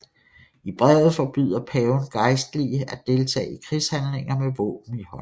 I brevet forbyder paven gejstlige at deltage i krigshandlinger med våben i hånd